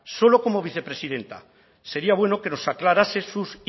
solo como vicepresidenta sería bueno que nos aclarase sus